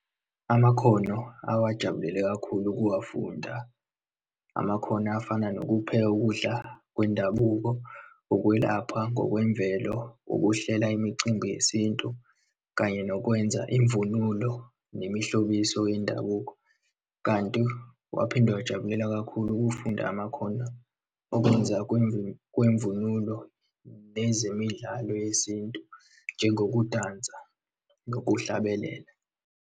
Amakhono awajabulela kakhulu ukuwafunda, amakhono afana nokupheka ukudla kwendabuko, ukwelapha ngokwemvelo, ukuhlela imicimbi yesintu, kanye nokwenza imvunulo nemihlobiso yendabuko. Kanti waphinde wajabulela kakhulu ukufunda amakhono okwenza kwemvunulo, nezemidlalo yesintu njengengukudansa nokuhlabelela.